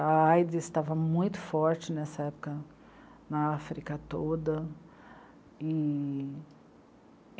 A á i dê sê estava muito forte nessa época na África toda.